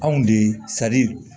Anw de